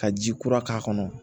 Ka ji kura k'a kɔnɔ